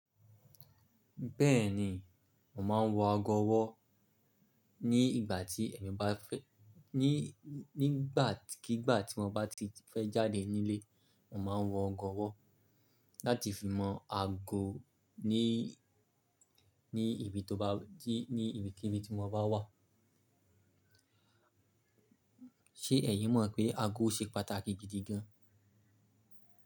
Bẹ́ẹ̀ni, mo máa ń wọ ago ọwọ́ ní ìgbà tí èmi bá fẹ́, ní nígbàkígbà tí mo bá ti fẹ́ jáde nílé, mo máa ń wọ ago ọwọ́ láti fi mọ ago ní, ní ibi tó bá jí, ní ibikíni tí mo bá wà. Ṣé ẹ̀yin mọ̀ pé ago ṣe pàtàkì gidi gan?